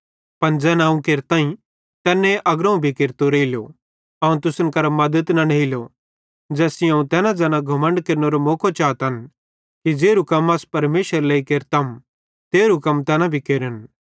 पन ज़ैन अवं केरताईं तैने अग्रोवं भी केरतो रेइलो अवं तुसन करां मद्दत न नेइलो ज़ैस सेइं अवं तैन ज़ैना घमण्ड केरनेरो मौको चातन कि ज़ेरू कम अस परमेशरेरे लेइ केरतम तेरहु कम तैना भी केरतन